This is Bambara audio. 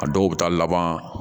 A dɔw bɛ taa laban